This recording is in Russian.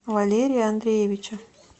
валерия андреевича